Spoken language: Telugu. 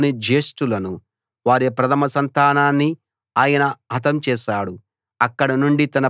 వారి దేశంలోని జ్యేష్ఠులను వారి ప్రథమ సంతానాన్ని ఆయన హతం చేశాడు